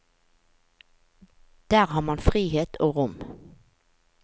Der har man frihet og rom.